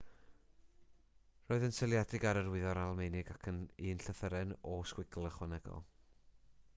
roedd yn seiliedig ar yr wyddor almaenig ac un llythyren õ/õ ychwanegol